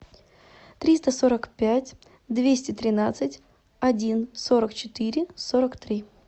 триста сорок пять двести тринадцать один сорок четыре сорок три